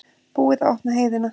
Búið að opna heiðina